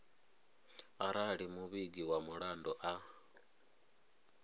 arali muvhigi wa mulandu a